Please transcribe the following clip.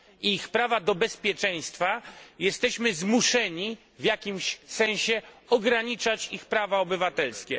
ich prawa do bezpieczeństwa, jesteśmy zmuszeni w jakimś sensie ograniczać ich prawa obywatelskie.